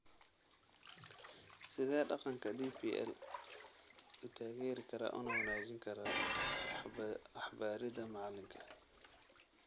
Sidee qalabka DPL u taageeri karaa una wanaajin karaa waxbaridda macalinka?